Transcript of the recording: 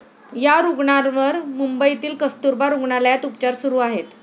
या रुग्णांवर मुंबईतील कस्तुरबा रुग्णालयात उपचार सुरु आहेत.